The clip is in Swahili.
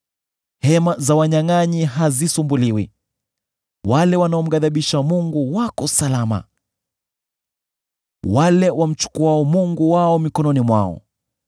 Hema za wanyangʼanyi hazisumbuliwi, wale wanaomghadhibisha Mungu wako salama: wale wamchukuao mungu wao mikononi mwao.